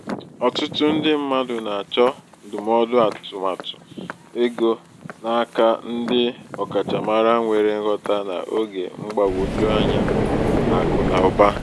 ọtụtụ ndị mmadụ na-achọ ndụmọdụ atụmatụ ego n'aka ndị ọkachamara nwere nghota n’oge mgbagwoju anya akụ na ụba.